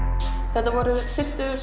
þetta voru fyrstu